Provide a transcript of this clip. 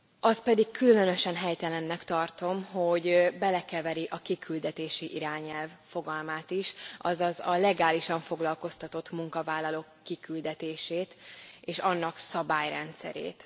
Azt pedig különösen helytelennek tartom, hogy belekeveri a kiküldetési irányelv fogalmát is, azaz a legálisan foglalkoztatott munkavállalók kiküldetését és annak szabályrendszerét.